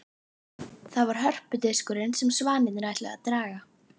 Það var hörpudiskurinn sem svanirnir ætluðu að draga.